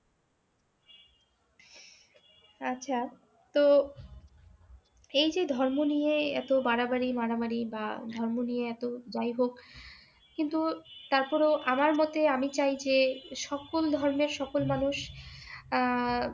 আচ্ছা, তো এই যে ধর্ম নিয়ে এত বাড়াবাড়ি মারামারি বা ধর্ম নিয়ে এত দায়ভার কিন্তু তারপরেও আমার মতে আমি চাই যে সকল ধর্মের সকল মানুষ আহ